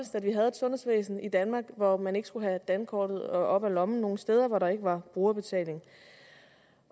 sundhedsvæsen i danmark hvor man ikke skulle have dankortet op af lommen nogen steder hvor der ikke var brugerbetaling